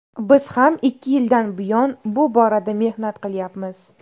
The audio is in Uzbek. Biz ham ikki yildan buyon bu borada mehnat qilyapmiz.